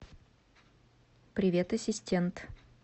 привет ассистент